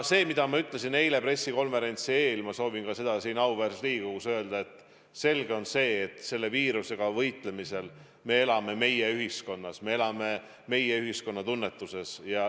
Seda, mida ma ütlesin eile pressikonverentsi eel, ma soovin ka siin auväärses Riigikogus öelda: selge on see, et selle viirusega võitlemisel me elame meie-ühiskonnas, me elame meie-ühiskonna tunnetuses.